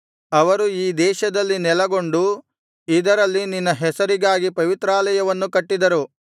ಅವರು ಈ ದೇಶದಲ್ಲಿ ನೆಲಗೊಂಡು ಇದರಲ್ಲಿ ನಿನ್ನ ಹೆಸರಿಗಾಗಿ ಪವಿತ್ರಾಲಯವನ್ನು ಕಟ್ಟಿದರು